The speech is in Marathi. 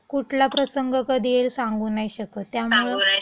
कुठला प्रसंग कधी येईल, सांगु नाही शकत. त्यामुळं